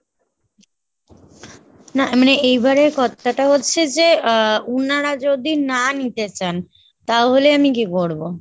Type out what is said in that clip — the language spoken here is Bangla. না মানে এইবার এর কত্থাটা হচ্ছে যে আহ উনারা যদি না নিতে চান তাহলে আমি কী করবো ?